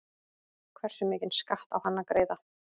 Hversu mikinn skatt á hann að greiða?